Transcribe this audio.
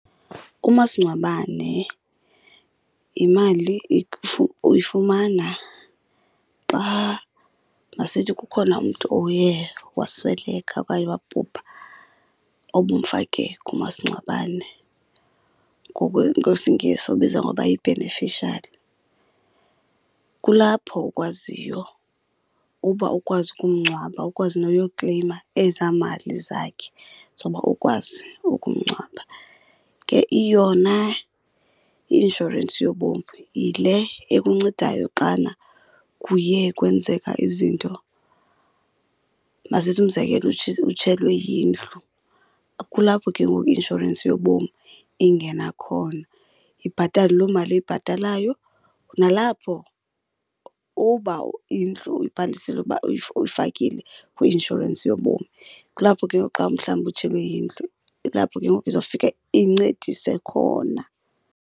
Umasingcwabane yimali uyifumana xa, masithi kukhona umntu oye wasweleka okanye wabhubha obumfake kumasingcwabane, ngesiNgesi ubizwa ngokuba yi-beneficiary. Kulapho ukwaziyo uba ukwazi ukumngcwaba, ukwazi noyokleyima ezaa mali zakhe zoba ukwazi ukumngcwaba. Ke yona i-inshorensi yobomi yile ekuncedayo xana kuye kwenzeka izinto. Masithi umzekelo utshelwe yindlu, kulapho ke ngoku i-inshorensi yobomi ingena khona ibhatale loo mali iyibhatalayo. Nalapho uba indlu uyibhalisile uba uyifakile kwi-inshorensi yobomi, kulapho ke ngoku xa umhlawumbi utshelwe yindlu kulapho ke ngoku izawufika incedise khona.